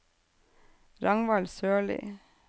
Ragnvald Sørlie